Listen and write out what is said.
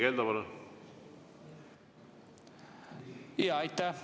Aitäh!